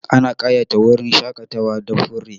Ana ƙayata wurin shaƙatawa da fure.